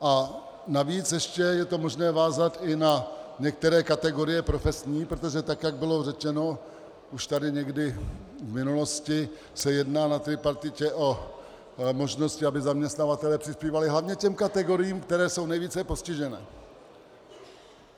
A navíc ještě je to možné vázat i na některé kategorie profesní, protože tak jak bylo řečeno už tady někdy v minulosti, se jedná na tripartitě o možnosti, aby zaměstnavatelé přispívali hlavně těm kategoriím, které jsou nejvíce postižené.